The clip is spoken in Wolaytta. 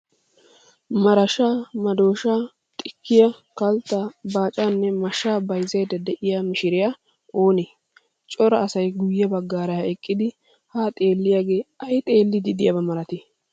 Marashaa, madooshaa, xikkiyaa, kalttaa, baacaanne mashsa bayizzayidda diyaa mishiriyaa oonee? Cora asayi guyye baggaara eqqidi ha xeelliyaage ayi xeelliddi diiyab malatii?